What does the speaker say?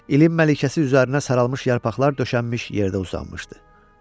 İlin məlikəsi üzərinə saralmış yarpaqlar döşənmiş yerdə uzanmışdı.